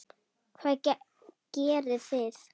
Hvað gerið þið?